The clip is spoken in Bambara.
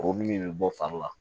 Kuru min bɛ bɔ fari la